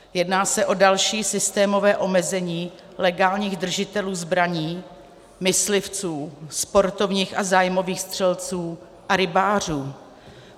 Jedná se o další systémové omezení legálních držitelů zbraní, myslivců, sportovních a zájmových střelců a rybářů.